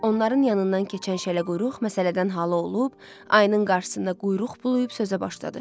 Onların yanından keçən şələquyruq məsələdən halı olub, ayının qarşısında quyruq bulayıb sözə başladı.